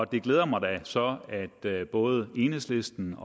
det glæder mig da så at både enhedslisten